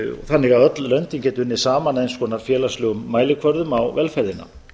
þannig að öll löndin geti unnið saman að eins konar félagslegum mælikvörðum á velferðina